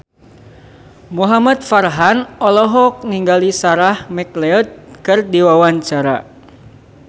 Muhamad Farhan olohok ningali Sarah McLeod keur diwawancara